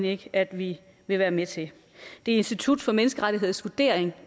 ikke at vi vil være med til det er institut for menneskerettigheders vurdering